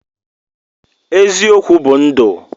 eziokwu bu ndu